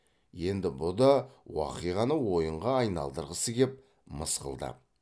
енді бұ да уақиғаны ойынға айналдырғысы кеп мысқылдап